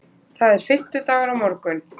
Það er fimmtudagur á morgun.